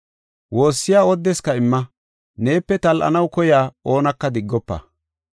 Woossiya oodeska imma; neepe tal7anaw koyiya oonaka diggofa.